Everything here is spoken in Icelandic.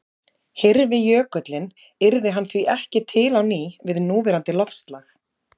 Hyrfi jökullinn yrði hann því ekki til á ný við núverandi loftslag.